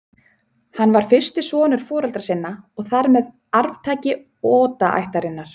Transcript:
Hann var fyrsti sonur foreldra sinna og þar með arftaki Oda-ættarinnar.